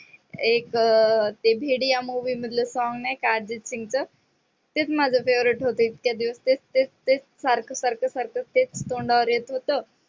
एक अह भेडीया movie मधलं song नाही का ते अर्जित सिंगचं तेच माझं favorite होतं. इतक्या दिवस तेच तेच तेच सारख सारख सारख तेच तोंडावर येत होतं.